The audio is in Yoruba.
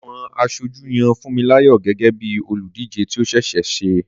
Àwọn aṣojú yan Funmilayo gẹ́gẹ́ bí olùdíje tí ó ṣe é ṣe.